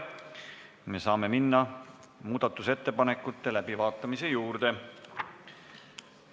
Me saame minna muudatusettepanekute läbivaatamise juurde.